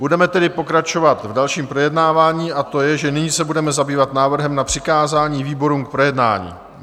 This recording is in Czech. Budeme tedy pokračovat v dalším projednávání, a to je, že nyní se budeme zabývat návrhem na přikázání výborům k projednání.